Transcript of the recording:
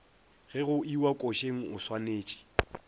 ge go iwa košeng oswanetše